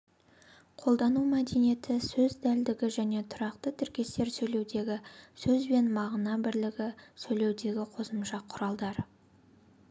қолдану мәдениеті сөз дәлдігі және тұрақты тіркестер сөйлеудегі сөз бен мағына бірлігі сөйлеудегі қосымша құралдар